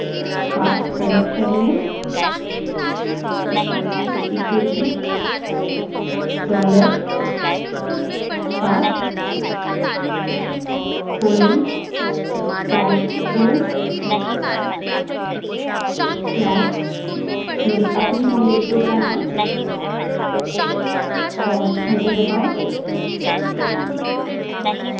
path बड़े अक्षर में equalto dollar पाथ फिर से बड़े अक्षर में colon/home/<the _ name _ of _ my _ own _ home _ directory> और enter दबायें